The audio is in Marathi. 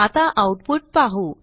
आता आऊटपुट पाहू